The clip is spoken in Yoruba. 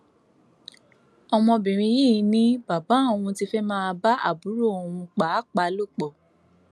ọmọbìnrin yìí ni bàbá òun ti fẹẹ máa bá àbúrò òun pàápàá lò pọ